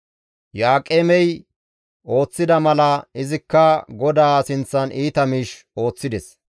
Iyo7aaqemey ooththida mala izikka GODAA sinththan iita miish ooththides.